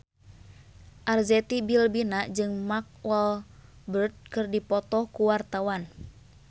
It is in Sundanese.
Arzetti Bilbina jeung Mark Walberg keur dipoto ku wartawan